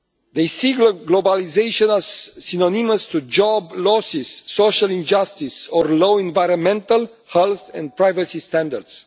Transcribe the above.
They see globalisation as synonymous with job losses, social injustice and low environmental health and privacy standards.